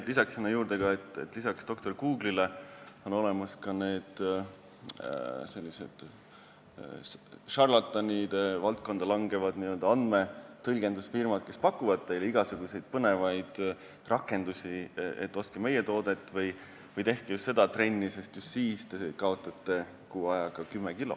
Ma lisan juurde, et peale doktor Google'i on olemas ka sellised šarlatanide valdkonda langevad n-ö andmetõlgendusfirmad, kes pakuvad teile igasuguseid põnevaid rakendusi, et ostke meie toodet või tehke just seda trenni, sest siis te kaotate kuu ajaga kümme kilo.